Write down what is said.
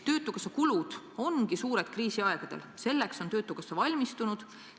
Töötukassa kulud on kriisiaegadel suured, aga töötukassa on selleks valmistunud.